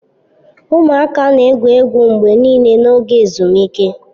Ụmụaka na-egwu egwu mgbe niile n'oge ezumike.